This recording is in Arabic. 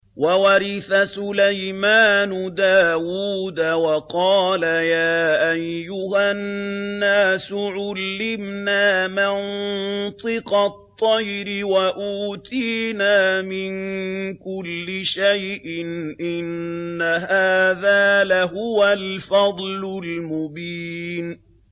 وَوَرِثَ سُلَيْمَانُ دَاوُودَ ۖ وَقَالَ يَا أَيُّهَا النَّاسُ عُلِّمْنَا مَنطِقَ الطَّيْرِ وَأُوتِينَا مِن كُلِّ شَيْءٍ ۖ إِنَّ هَٰذَا لَهُوَ الْفَضْلُ الْمُبِينُ